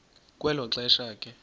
kwelo xesha ke